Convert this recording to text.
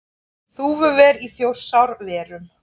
Þúfuver í Þjórsárverum.